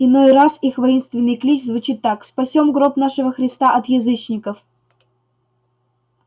иной раз их воинственный клич звучит так спасём гроб нашего христа от язычников